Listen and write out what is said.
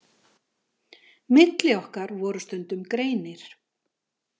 Milli okkar voru stundum greinir.